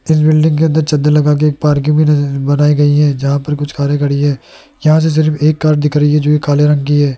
जिस बिल्डिंग के अंदर चद्दर लगा के एक पार्किंग की जगह बनाई गई है जहां पर कुछ कारे खड़ी हैं यहां से सिर्फ एक कार दिख रही है जो काले रंग की है।